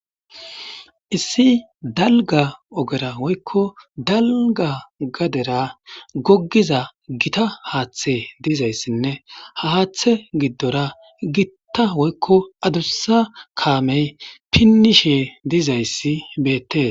issi dallga oggera woykko dallga gadera goggiza gita haththe diizayssinne ha haththe giddora gitta woykko adussa kaamey pinnishe diizayssi beettes